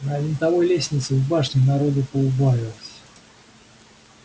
на винтовой лестнице в башне народу поубавилось